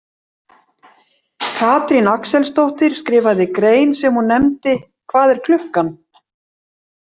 Katrín Axelsdóttir skrifaði grein sem hún nefndi Hvað er klukkan?